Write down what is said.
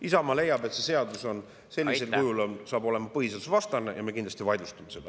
Isamaa leiab, et see seadus sellisel kujul saab olema põhiseadusvastane, ja me kindlasti vaidlustame selle.